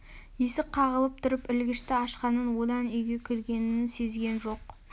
есік қағылып тұрып ілгішті ашқанын одан үйге кіргенін сезген жоқ